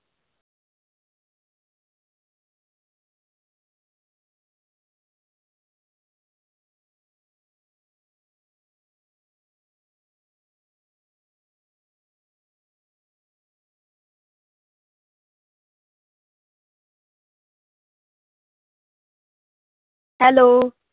Hello.